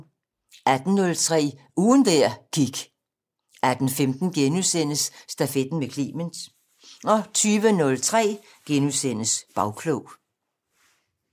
18:03: Ugen der gik 18:15: Stafetten med Clement * 20:03: Bagklog *